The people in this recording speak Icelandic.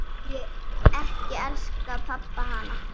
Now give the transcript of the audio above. Því ekki elskaði pabbi hana.